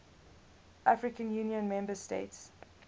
african union member states